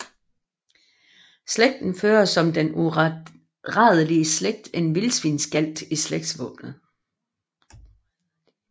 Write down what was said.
Slægten fører som den uradelige slægt en vildsvinsgalt i slægtsvåbenet